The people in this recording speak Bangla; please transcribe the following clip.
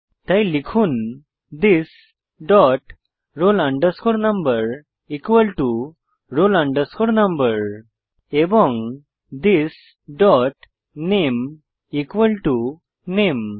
তাই লিখুন this dot roll number roll number এবং থিস ডট নামে নামে